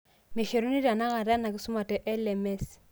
Meshoruni tenakata ena kisuma te LMS.